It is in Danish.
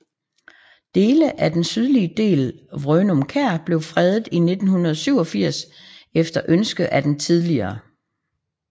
Dele af den sydlige del af Vrøgum Kær blev fredet i 1987 efter ønske af det tidl